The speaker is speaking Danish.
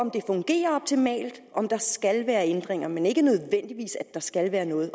om der skal være ændringer men ikke nødvendigvis at der skal være noget